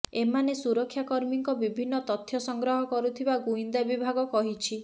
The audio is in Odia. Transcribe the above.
ଏମାନେ ସୁରକ୍ଷାକର୍ମୀଙ୍କ ବିଭିନ୍ନ ତଥ୍ୟ ସଂଗ୍ରହ କରୁଥିବା ଗୁଇନ୍ଦା ବିଭାଗ କହିଛି